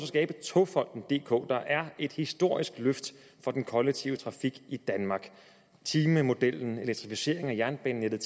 skabe togfonden dk der er et historisk løft af den kollektive trafik i danmark timemodellen elektrificeringen af jernbanenettet